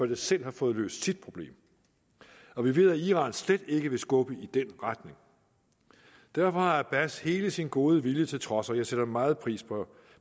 det selv har fået løst sit problem og vi ved at iran slet ikke vil skubbe i den retning derfor har abbas hele sin gode vilje til trods og jeg sætter meget pris på